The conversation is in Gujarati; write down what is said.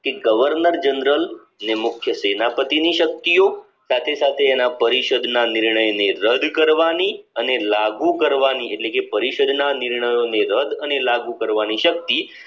કે governor general ને મુખ્ય સેનાપતિની શક્તિઓ સાથે સાથે એના પરિષદ ના નિર્ણય ને રદ કરવાની અને લાગુ લાગુ કરવાની એટલે કે પરિષદના નિર્ણયોને રદ અને લાગુ કરવાની શક્તિ